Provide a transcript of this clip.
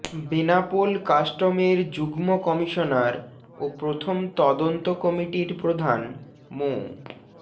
বেনাপোল কাস্টমের যুগ্ম কমিশনার ও প্রথম তদন্ত কমিটির প্রধান মো